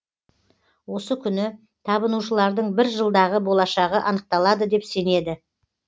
осы күні табынушылардың бір жылдағы болашағы анықталады деп сенеді